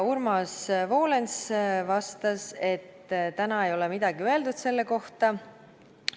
Urmas Volens vastas, et täna ei ole selle kohta midagi öeldud.